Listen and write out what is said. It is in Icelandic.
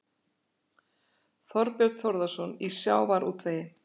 Þorbjörn Þórðarson: Í sjávarútvegi?